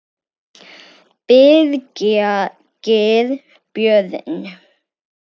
Birgir Björn